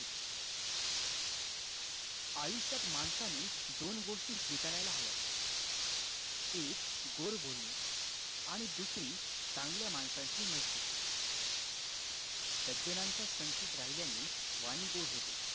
आयुष्यात माणसाने दोन गोष्टी स्वीकारायला हव्यात एक गोड बोलणे आणि दुसरी चांगल्या माणसांची मैत्री सज्जनांच्या संगतीत राहिल्याने वाणी गोड होते